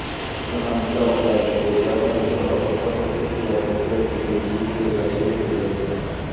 ସୂଚନା ମୁତାବକ ଆଜି ପୂର୍ବାହ୍ନରେ ଘର ପଛପଟରେ ଥିବା ପୋଖରୀକୁ ଏହି ଦୁଇ ଝିଅ ଗାଧୋଇବାକୁ ଯାଇଥିଲେ